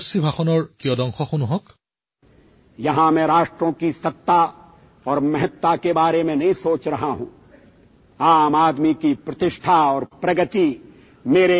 আমাৰ সফলতা আৰু বিফলতাবোৰ কেৱল এটা চৰ্তৰ দ্বাৰা জোখা উচিত যে আমি সমগ্ৰ মানৱ সমাজৰ বাবে বিশেষকৈ প্ৰতিজন পুৰুষ আৰু মহিলা আৰু শিশুৰ বাবে ন্যায় আৰু মৰ্যাদা নিশ্চিত কৰিবলৈ চেষ্টা কৰি আছোঁ নে নাই